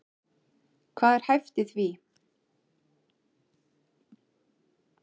Hvað er hæft í því?